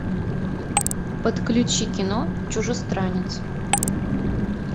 подключи кино чужестранец